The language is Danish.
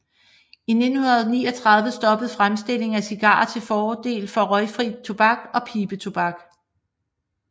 I 1939 stoppede fremstilling af cigarer til fordel for røgfri tobak og pibetobak